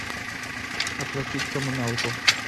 оплатить коммуналку